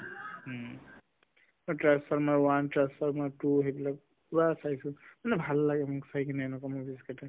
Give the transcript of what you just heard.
transformers one, transformers two সেইবিলাক পুৰা চাইছো মানে ভাল লাগে মোৰ চাই কিনে এনেকুৱা movies কেইটা